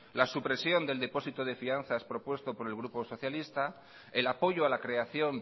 la supresión del depósito de fianzas propuesto por el grupo socialista el apoyo a la creación